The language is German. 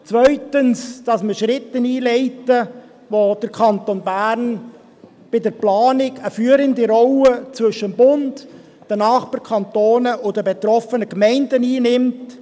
zweitens: das Einleiten von Schritten, bei denen der Kanton Bern bei der Planung eine führende Rolle zwischen dem Bund, den Nachbarkantonen und den betroffenen Gemeinden einnimmt;